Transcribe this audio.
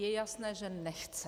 Je jasné, že nechce.